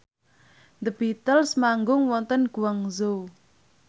The Beatles manggung wonten Guangzhou